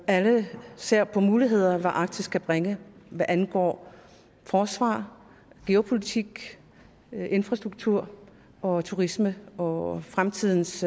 alle ser på hvilke muligheder arktis kan bringe hvad angår forsvar geopolitik infrastruktur og turisme og fremtidens